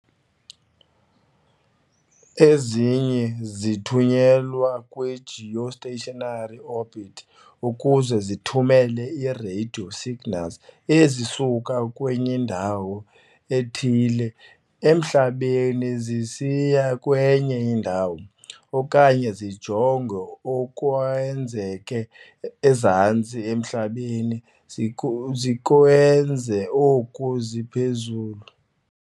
Ezinye zithunyelwa kwi-geostationary orbit ukuze zithumele ii-radio signals ezisuka kwindawo ethile emhlabeni zisiya kwenye indawo, okanye zijonge okwenzeka ezantsi emhlabeni zikwenza oko ziphezulu.